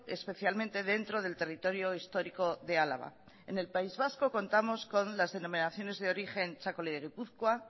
especialmente dentro del territorio histórico de álava en el país vasco contamos con las denominaciones de origen txakoli de gipuzkoa